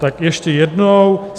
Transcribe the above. Tak ještě jednou.